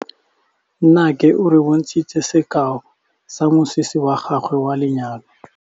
Nnake o re bontshitse sekaô sa mosese wa gagwe wa lenyalo.